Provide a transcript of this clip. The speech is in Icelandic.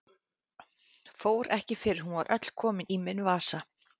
Fór ekki fyrr en hún var öll komin í minn vasa.